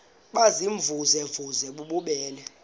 baziimvuze mvuze bububele